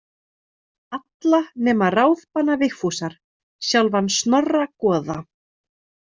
Alla nema ráðbana Vigfúsar, sjálfan Snorra goða.